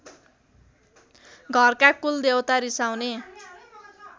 घरका कुलदेवता रिसाउने